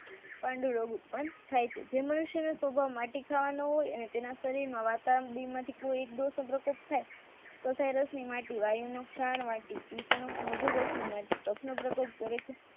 પાંડુરોગ ઉત્પન્ન થાય છે જે મનુષ્યે સ્વભાવ માટી ખાવાના હોય તેના શરીરમાં વાતાવરણ કોઈ એક થઈ માફધુર રાસની માટી